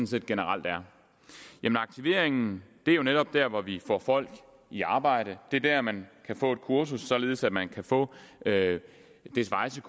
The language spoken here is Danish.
set generelt er aktiveringen er jo netop der hvor vi får folk i arbejde det er der man kan få et kursus således at man kan få det svejse